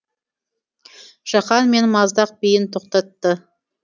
жақан мен маздақ биін тоқтатты